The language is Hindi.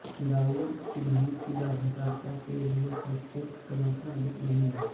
डाउ सिद्धांत की लाभकारिता के लिए शैक्षणिक समर्थन अधिक नहीं है